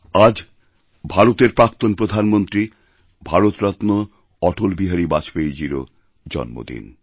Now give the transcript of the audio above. আজ ভারতের প্রাক্তণপ্রধানমন্ত্রী ভারতরত্ন অটলবিহারী বাজপেয়ীজীরও জন্মদিন